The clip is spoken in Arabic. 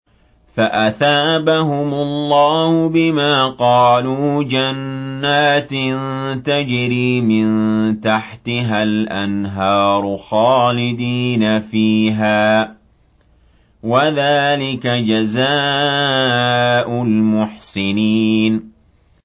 فَأَثَابَهُمُ اللَّهُ بِمَا قَالُوا جَنَّاتٍ تَجْرِي مِن تَحْتِهَا الْأَنْهَارُ خَالِدِينَ فِيهَا ۚ وَذَٰلِكَ جَزَاءُ الْمُحْسِنِينَ